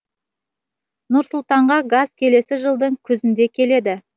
нұр сұлтанға газ келесі жылдың күзінде келеді